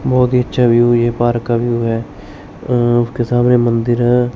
बहुत ही अच्छा व्यू है ये पार्क का व्यू है अह उसके सामने मंदिर है।